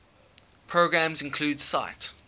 programs include sight